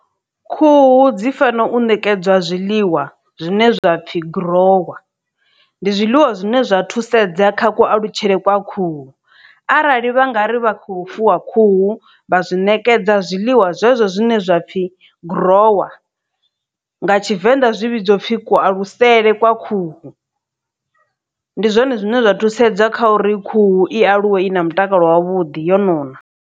Khuhu dzi fana u nekedzwa zwiḽiwa zwine zwa pfhi guruwa ndi zwiḽiwa zwine zwa thusedza kha ku alutshele kwa khuhu arali vha nga ri vha khou fuwa khuhu vha zwi ṋekedza zwiḽiwa zwezwo zwine zwapfhi gurowa nga tshivenḓa zwivhidzwa upfhi kualutshele kwa khuhu ndi zwone zwine zwa thusedza kha uri khuhu i aluwe i na mutakalo wavhuḓi yo nona.